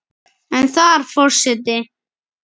en þar Forseti